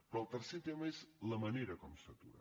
però el tercer tema és la manera com s’atura